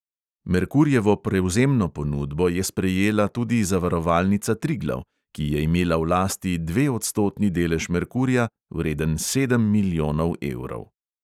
Merkurjevo prevzemno ponudbo je sprejela tudi zavarovalnica triglav, ki je imela v lasti dveodstotni delež merkurja, vreden sedem milijonov evrov.